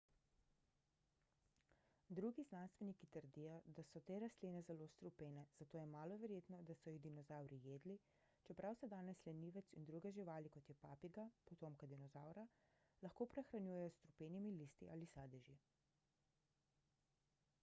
drugi znanstveniki trdijo da so te rastline zelo strupene zato je malo verjetno da so jih dinozavri jedli čeprav se danes lenivec in druge živali kot je papiga potomka dinozavra lahko prehranjujejo s strupenimi listi ali sadeži